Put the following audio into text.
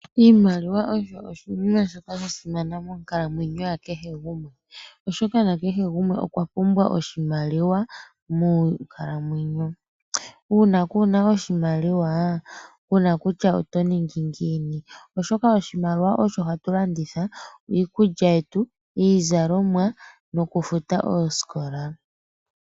Iimaliwa osho oshinima shoka shasimana moonkalamwenyo ya kehe gumwe oshoka okweshi pumbwa monkalamwenyo. Uuna kuna oshimaliwa kuna kutya oto ningi ngiini oshoka oshimaliwa osho hatu longitha okulanda iikulya yetu iizalomwa nokufuta oosikola.